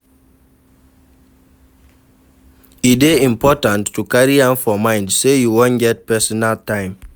E dey important to carry am for mind sey you wan get personal time